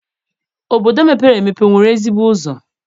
Obodo mepere emepe enwere ezigbo ụzọ?